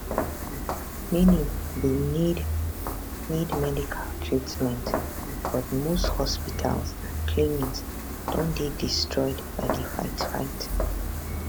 many bin need need medical treatment but most hospitals and clinics don dey destroyed by di fightfight